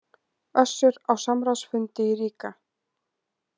Össur á samráðsfundi í Riga